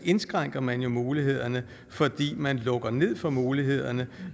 indskrænker man jo mulighederne fordi man lukker ned for mulighederne